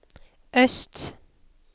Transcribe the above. øst